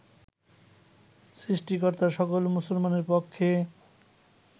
সৃষ্টিকর্তা সকল মুসলমানের পক্ষে